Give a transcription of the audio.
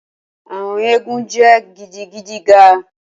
Awọn eégún jẹ gidigidi ga